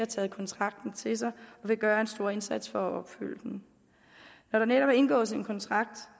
taget kontrakten til sig og vil gøre en stor indsats for at opfylde den når der indgås en kontrakt